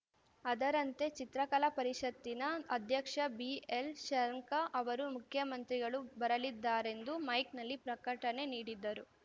ಅದರಂತೆ ಚಿತ್ರಕಲಾ ಪರಿಷತ್ತಿನ ಅಧ್ಯಕ್ಷ ಬಿಎಲ್‌ಶಂಖ ಅವರು ಮುಖ್ಯಮಂತ್ರಿಗಳು ಬರಲಿದ್ದಾರೆಂದು ಮೈಕ್‌ನಲ್ಲಿ ಪ್ರಕಟಣೆ ನೀಡಿದ್ದರು